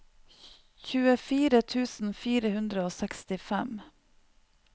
tjuefire tusen fire hundre og sekstifem